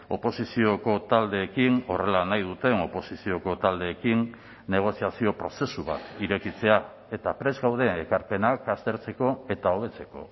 oposizioko taldeekin horrela nahi duten oposizioko taldeekin negoziazio prozesu bat irekitzea eta prest gaude ekarpenak aztertzeko eta hobetzeko